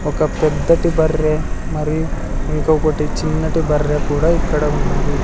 ఒక పెద్దటి బర్రె మరియు ఇంకొకటి చిన్నటి బర్రె కూడా ఇక్కడ ఉన్నవి.